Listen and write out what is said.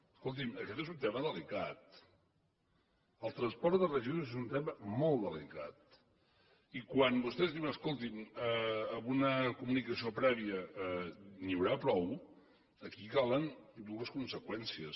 escolti’m aquest és un tema delicat el transport de residus és un tema molt delicat i quan vostès diuen escoltin amb una comunicació prèvia n’hi haurà prou aquí calen dues conseqüències